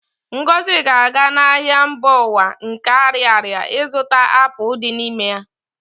Ngozi ga-aga n'ahịa mba ụwa nke Ariaria ịzụta apụl dị n'ime ya